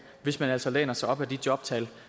hvis man altså læner sig op ad de jobtal